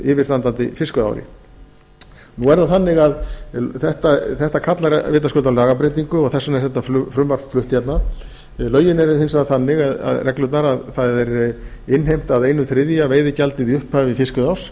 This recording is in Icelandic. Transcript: yfirstandandi fiskveiðiári nú er það þannig að þetta kallar vitaskuld á lagabreytingu og þess vegna er þetta frumvarp flutt hérna lögin eða reglurnar eru hins vegar þannig að það er innheimt að einn þriðji veiðigjaldið í upphafi fiskveiðiárs